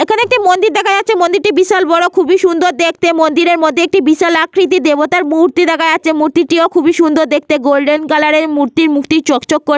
এখানে একটি মন্দির দেখা যাচ্ছে। মন্দিরটি বিশাল বড় খুবই সুন্দর দেখতে। মন্দিরের মধ্যে একটি বিশাল আকৃতির দেবতার মূর্তি দেখা যাচ্ছে। মূর্তিটিও খুবই সুন্দর দেখতে গোল্ডেন কালার এর। মূর্তির মুখটি চক্চক কর --